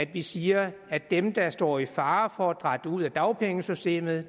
vi siger at dem der står i fare for at dratte ud af dagpengesystemet